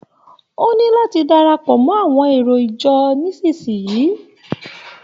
O ní láti darapọ̀ mọ́ àwọn èrò ìjọ nísisìyí.